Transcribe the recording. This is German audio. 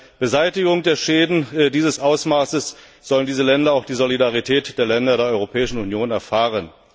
Bei der Beseitigung der Schäden dieses Ausmaßes sollen diese Länder auch die Solidarität der Länder der Europäischen Union erfahren.